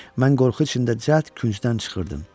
Mən qorxu içində cəhd küncdən çıxırdım.